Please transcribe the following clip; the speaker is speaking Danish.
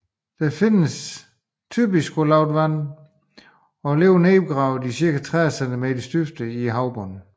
Den findes typisk på lavt vand og lever nedgravet i ned til 30 centimeters dybde i havbunden